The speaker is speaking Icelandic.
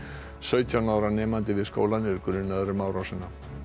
sautján ára nemandi við skólann er grunaður um árásina